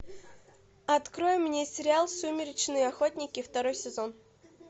открой мне сериал сумеречные охотники второй сезон